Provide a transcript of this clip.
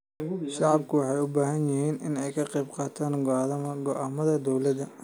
Shacabku waxay u baahan yihiin inay ka qaybqaataan go'aamada dawladda.